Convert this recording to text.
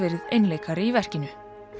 einleikari í verkinu